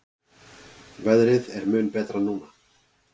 Veðrið er mun betra núna.